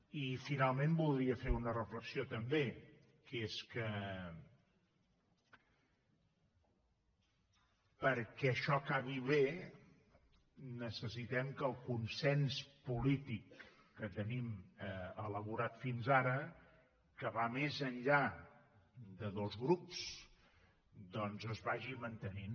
i finalment voldria fer una reflexió també que és que perquè això acabi bé necessitem que el consens polític que tenim elaborat fins ara que va més enllà de dos grups doncs es vagi mantenint